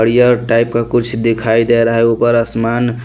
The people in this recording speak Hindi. बढ़िया ओ टाइप का कुछ दिखाई दे रहा है ऊपर आसमान --